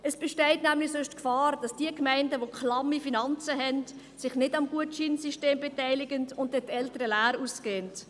Es besteht sonst nämlich die Gefahr, dass die Gemeinden mit klammen Finanzen sich nicht am Gutscheinsystem beteiligen und die Eltern leer ausgehen.